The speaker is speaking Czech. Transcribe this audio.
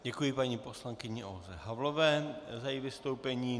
Děkuji paní poslankyni Olze Havlové za její vystoupení.